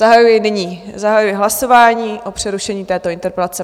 Zahajuji nyní, zahajuji hlasování o přerušení této interpelace.